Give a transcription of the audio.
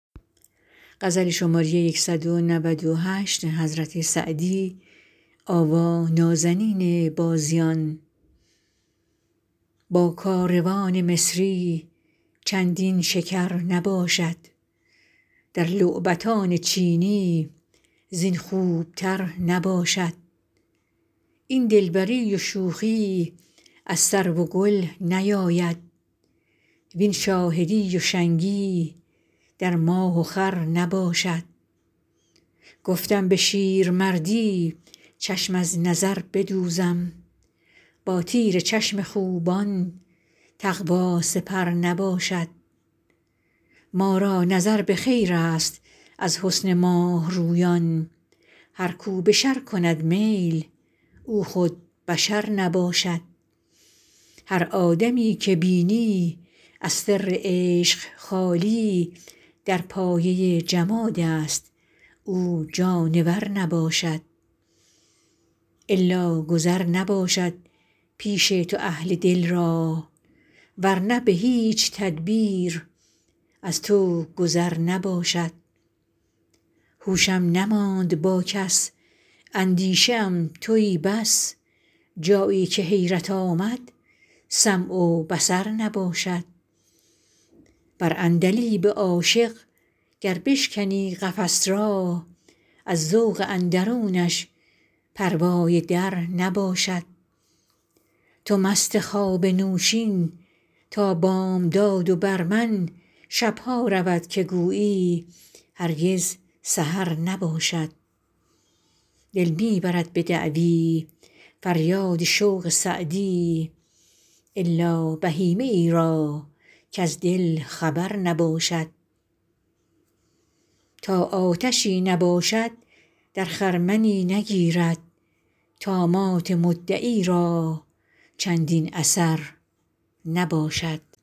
با کاروان مصری چندین شکر نباشد در لعبتان چینی زین خوبتر نباشد این دلبری و شوخی از سرو و گل نیاید وین شاهدی و شنگی در ماه و خور نباشد گفتم به شیرمردی چشم از نظر بدوزم با تیر چشم خوبان تقوا سپر نباشد ما را نظر به خیرست از حسن ماه رویان هر کو به شر کند میل او خود بشر نباشد هر آدمی که بینی از سر عشق خالی در پایه جمادست او جانور نباشد الا گذر نباشد پیش تو اهل دل را ور نه به هیچ تدبیر از تو گذر نباشد هوشم نماند با کس اندیشه ام تویی بس جایی که حیرت آمد سمع و بصر نباشد بر عندلیب عاشق گر بشکنی قفس را از ذوق اندرونش پروای در نباشد تو مست خواب نوشین تا بامداد و بر من شب ها رود که گویی هرگز سحر نباشد دل می برد به دعوی فریاد شوق سعدی الا بهیمه ای را کز دل خبر نباشد تا آتشی نباشد در خرمنی نگیرد طامات مدعی را چندین اثر نباشد